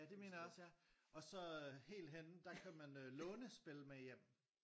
Ja det mener jeg også ja og så øh helt henne der kan man øh låne spil med hjem